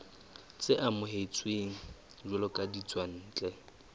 tse amohetsweng jwalo ka ditswantle